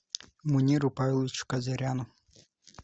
муниру павловичу казаряну